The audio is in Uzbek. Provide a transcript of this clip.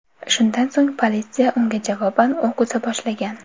Shundan so‘ng politsiya unga javoban o‘q uza boshlagan.